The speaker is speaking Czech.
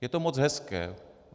Je to moc hezké.